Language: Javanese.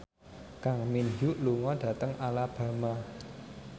Kang Min Hyuk lunga dhateng Alabama